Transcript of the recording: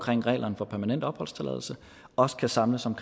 reglerne for permanent opholdstilladelse også kan samles om